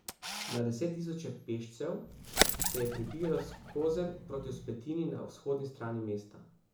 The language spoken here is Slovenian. Na deset tisoče pešcev se je prebijalo skozenj proti vzpetini na vzhodni strani mesta.